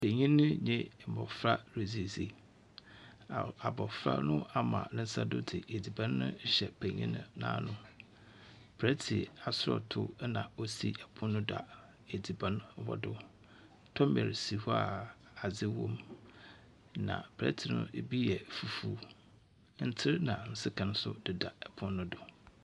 Panyin no dze abofra redzi asie. Abrofra no ama ne nsa do dze adziban rehyɛ panyin n'ano. Plɛɛt asɔɔto na osi pon no do adziban wɔ do. Tomɛl si hɔ a adze wom. Na plɛɛt no bi yɛ fufu. Ntser na sekan nso deda pon no do.